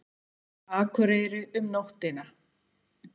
Akureyri um nóttina.